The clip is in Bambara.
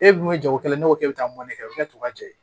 E dun ye jagokɛla ye ne ko k'e bɛ taa mɔni kɛ tɔ ka cɛ